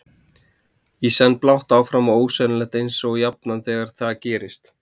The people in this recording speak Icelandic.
Í senn blátt áfram og ósennilegt eins og jafnan þegar það gerist.